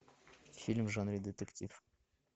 фильм в жанре детектив